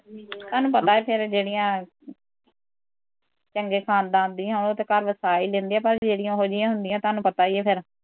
ਬਾਈ ਫਿਰ ਜਿਹੜੀਆਂ ਚੰਗੇ ਖਾਨਦਾਨ ਦੀਆ ਉਹ ਤੇ ਘਰ ਵਸਾ ਈ ਲੈਂਦੀਆ ਪਰ ਜਿਹੜੀਆਂ ਉਹੋ ਜਹੀਆ ਹੁੰਦੀਆਂ ਤੁਹਾਨੂੰ ਪਤਾ ਈ ਆ ਫਿਰ